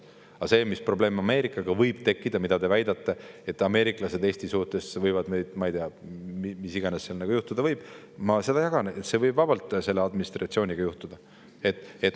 Aga see, mis probleem teie väitel Ameerikaga võib tekkida, mis ameeriklased Eesti suhtes võivad, ma ei tea, mis iganes juhtuda võib – ma seda jagan, see võib vabalt selle administratsiooniga juhtuda.